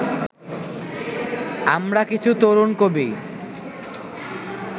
আমরা কিছু তরুণ কবি